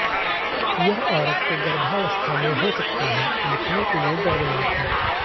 यह औरत को गर्भावस्था में हो सकता है लिखने के लिए दर्दनाक है